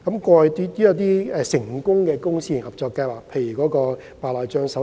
過去也有成功的公私營合作計劃，包括白內障手術。